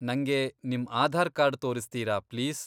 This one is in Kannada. ನಂಗೆ ನಿಮ್ ಆಧಾರ್ ಕಾರ್ಡ್ ತೋರಿಸ್ತೀರಾ ಪ್ಲೀಸ್?